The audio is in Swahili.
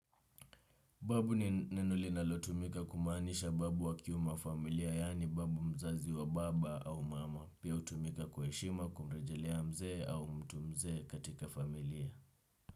Babu ni neno linalotumika kumaanisha babu wa kiume familia yaani babu mzazi wa baba au mama. Pia hutumika kwa heshima kumrejelea mzee au mtu mzee katika familia.